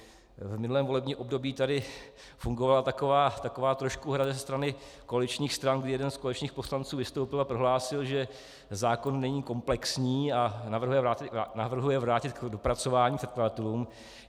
V minulém volebním období tady fungovala taková trošku hra ze strany koaličních stran, kdy jeden z koaličních poslanců vystoupil a prohlásil, že zákon není komplexní a navrhuje vrátit k dopracování předkladatelům.